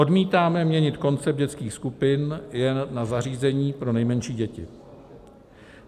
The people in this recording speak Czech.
Odmítáme měnit koncept dětských skupin jen na zařízení pro nejmenší děti.